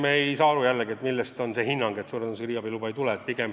Ma siiski ei saa aru, millel põhineb hinnang, et suure tõenäosusega riigiabi luba ei tule.